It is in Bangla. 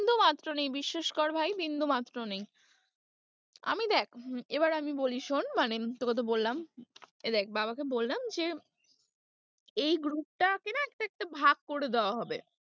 বিন্দুমাত্র নেই বিশ্বাস কর ভাই বিন্দুমাত্র নেই, আমি দেখ হম এবার আমি বলি শোন মানে তোকে তো বললাম এই দেখ বাবাকে বললাম যে, এই group টাকে না একটা একটা ভাগ করে দেওয়া হবে।